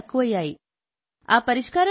మా ఆడవాళ్ళకి అయ్యే ఖర్చులు తక్కువయ్యాయి